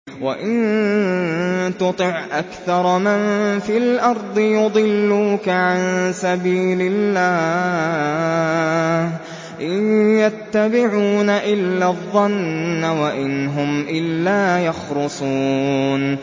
وَإِن تُطِعْ أَكْثَرَ مَن فِي الْأَرْضِ يُضِلُّوكَ عَن سَبِيلِ اللَّهِ ۚ إِن يَتَّبِعُونَ إِلَّا الظَّنَّ وَإِنْ هُمْ إِلَّا يَخْرُصُونَ